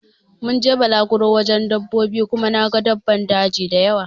Mun je balaguro wajen dabbobi Kuma na gan daban daji dayawa.